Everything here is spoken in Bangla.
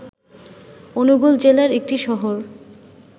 অনুগুল জেলার একটি শহর।